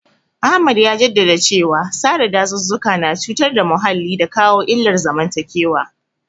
Ahmad ya jaddada cewa sare dazuzzuka na cutar da muhalli da kawo illar zamantakewa.